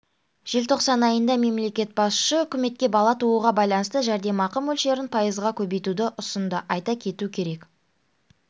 желтоқсан айында мемлекет басшысы үкіметке бала тууға байланысты жәрдемақы мөлшерін пайызға көбейтуді ұсынды айта кету керек